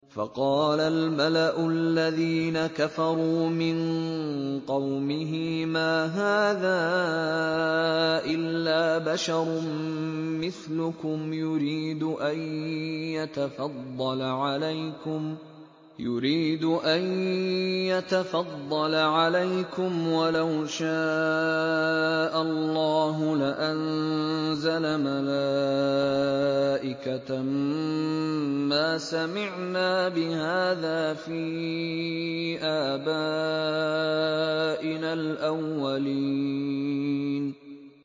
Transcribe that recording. فَقَالَ الْمَلَأُ الَّذِينَ كَفَرُوا مِن قَوْمِهِ مَا هَٰذَا إِلَّا بَشَرٌ مِّثْلُكُمْ يُرِيدُ أَن يَتَفَضَّلَ عَلَيْكُمْ وَلَوْ شَاءَ اللَّهُ لَأَنزَلَ مَلَائِكَةً مَّا سَمِعْنَا بِهَٰذَا فِي آبَائِنَا الْأَوَّلِينَ